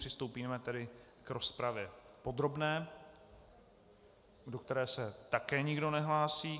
Přistoupíme tedy k rozpravě podrobné, do které se také nikdo nehlásí.